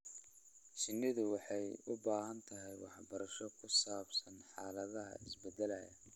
Shinnidu waxay u baahan tahay waxbarasho ku saabsan xaaladaha isbedelaya.